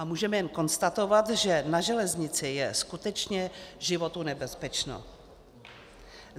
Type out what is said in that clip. A můžeme jen konstatovat, že na železnici je skutečně životu nebezpečno.